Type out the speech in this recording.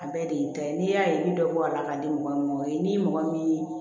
A bɛɛ de ye ta ye n'i y'a ye ni dɔ ko a la k'a di mɔgɔ min ma o ye ni mɔgɔ min